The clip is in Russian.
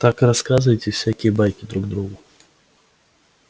так рассказываете всякие байки друг другу